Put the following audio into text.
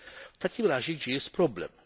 W takim razie gdzie jest problem?